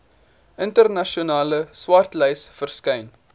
internasionale swartlys verskyn